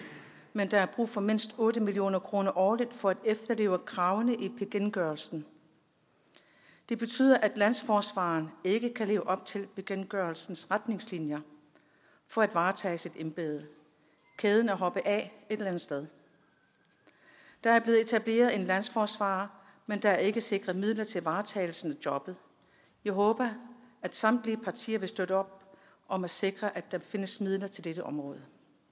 men der er brug for mindst otte million kroner årligt for at efterleve kravene i bekendtgørelsen det betyder at landsforsvareren ikke kan leve op til bekendtgørelsens retningslinjer for at varetage sit embede kæden er hoppet af et eller andet sted der er blevet etableret en landsforsvarer men der er ikke sikret midler til varetagelsen af jobbet jeg håber at samtlige partier vil støtte op om at sikre at der findes midler til dette område